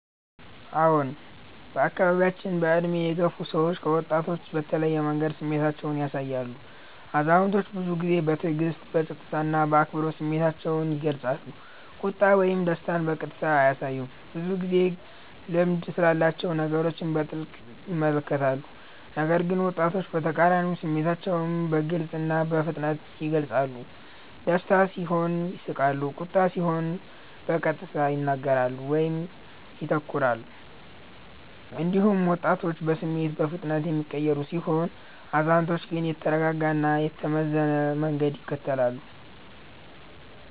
አዎን፣ በአካባቢያችን በዕድሜ የገፉ ሰዎች ከወጣቶች በተለየ መንገድ ስሜታቸውን ያሳያሉ። አዛውንቶች ብዙ ጊዜ በትዕግስት፣ በጸጥታ እና በአክብሮት ስሜታቸውን ይገልጻሉ፤ ቁጣ ወይም ደስታን በቀጥታ አያሳዩም፣ ብዙ ጊዜ ልምድ ስላላቸው ነገሮችን በጥልቅ ይመለከታሉ። ነገር ግን ወጣቶች በተቃራኒው ስሜታቸውን በግልጽ እና በፍጥነት ይገልጻሉ፤ ደስታ ሲሆን ይስቃሉ፣ ቁጣ ሲሆን በቀጥታ ይናገራሉ ወይም ይተኩራሉ። እንዲሁም ወጣቶች በስሜት በፍጥነት የሚቀየሩ ሲሆኑ፣ አዛውንቶች ግን የተረጋጋ እና የተመዘነ መንገድ ይከተላሉ።